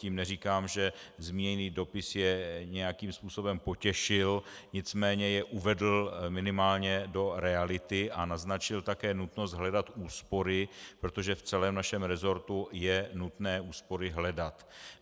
Tím neříkám, že zmíněný dopis je nějakým způsobem potěšil, nicméně je uvedl minimálně do reality a naznačil také nutnost hledat úspory, protože v celém našem resortu je nutné úspory hledat.